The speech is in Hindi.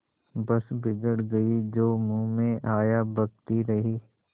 बस बिगड़ गयीं जो मुँह में आया बकती रहीं